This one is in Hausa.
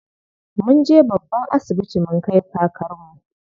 Munje babban asibiti mun kai kakarmu.